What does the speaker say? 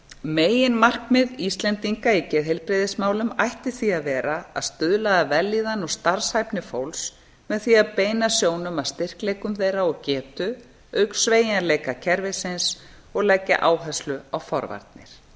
meginmarkmið íslendinga í geðheilbrigðismálum ætti því að vera að stuðla að vellíðan og starfshæfni fólks með því að beina sjónum að styrkleikum þeirra og getu auk sveigjanleika kerfisins og leggja áherslu á forvarnir